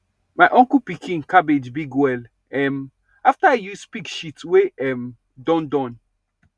my uncle pikin cabbage big well um after e use pig shit wey um don Accepted